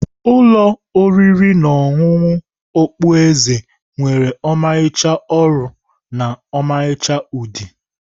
Ụlọ oriri na ọṅụṅụ okpu eze nwere ọmarịcha ọrụ na ọmarịcha udi.